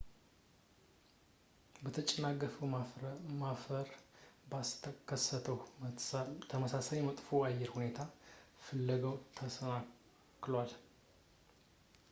የተጨናገፈውን ማረፍ ባስከሰተው ተመሳሳይ መጥፎ የአየር ሁኔታ ፍለጋው ተሰናክሏል